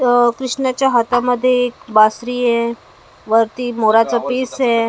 इथं कृष्णाच्या हातामध्ये एक बासरी आहे वरती मोराचे पीस आहे.